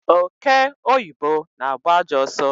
Ọke ọyibọ na-agba ajọọ ọsọ